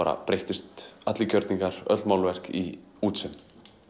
breyttust allir gjörningar öll málverk í útsaum